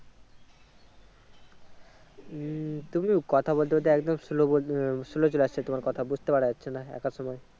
উম তুমি কথা বলতে বলতে একদম slow বল আহ Slow চলে আসছে তোমার কথা বুজতে পারা যাচ্ছে না একাদসময়।